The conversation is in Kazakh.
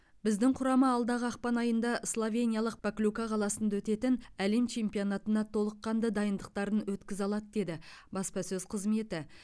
біздің құрама алдағы ақпан айында словениялық поклюка қаласында өтетін әлем чемпионатына толыққанды дайындықтарын өткізе алады деді баспасөз қызметі